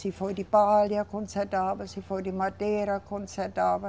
Se foi de palha, consertava, se foi de madeira, consertava.